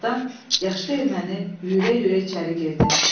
Bir azdan yaşlı erməni yüyürə-yüyürə içəri girdi.